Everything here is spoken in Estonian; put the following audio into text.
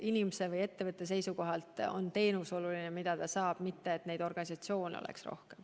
Inimese või ettevõtte seisukohalt on oluline teenus, mida ta saab, mitte see, et neid organisatsioone oleks rohkem.